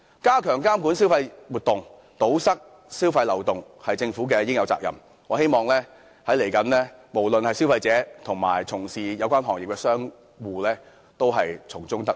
加強監管消費活動、堵塞消費漏洞是政府應有的責任，我希望無論是消費者及從事有關行業的商戶將來都能夠從中得益。